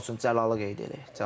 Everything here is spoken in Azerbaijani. Misal üçün, Cəlalı qeyd edək.